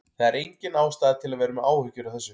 Það er engin ástæða til að vera með áhyggjur af þessu.